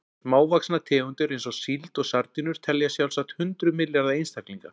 Smávaxnar tegundir eins og síld og sardínur telja sjálfsagt hundruð milljarða einstaklinga.